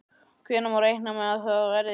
Hvenær má reikna með að það verði?